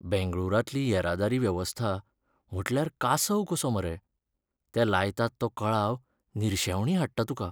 बेंगळूरांतली येरादारी वेवस्था म्हटल्यार कासव कसो मरे. ते लायतात तो कळाव निर्शेवणी हाडटा तुका.